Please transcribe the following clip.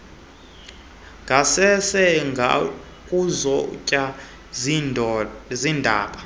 ngasese ngokuzotywa ziindaba